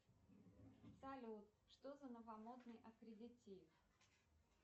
салют что за новомодный аккредитив